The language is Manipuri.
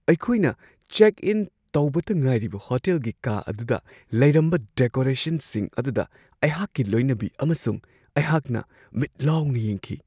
ꯑꯩꯈꯣꯏꯅ ꯆꯦꯛ ꯏꯟ ꯇꯧꯕꯇ ꯉꯥꯏꯔꯤꯕ ꯍꯣꯇꯦꯜꯒꯤ ꯀꯥ ꯑꯗꯨꯗ ꯂꯩꯔꯝꯕ ꯗꯦꯀꯣꯔꯦꯁꯟꯁꯤꯡ ꯑꯗꯨꯗ ꯑꯩꯍꯥꯛꯀꯤ ꯂꯣꯏꯅꯕꯤ ꯑꯃꯁꯨꯡ ꯑꯩꯍꯥꯛꯅ ꯃꯤꯠ ꯂꯥꯎꯅ ꯌꯦꯡꯈꯤ꯫